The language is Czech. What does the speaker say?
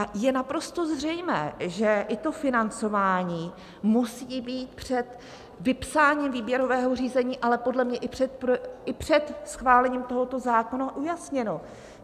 A je naprosto zřejmé, že i to financování musí být před vypsáním výběrového řízení, ale podle mě i před schválením tohoto zákona ujasněno.